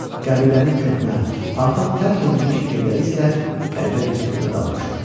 Qəbilənin köhnə, artıq tərk edilmiş evləri isə qəribə bir sükuta dalmışdı.